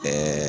Ɛɛ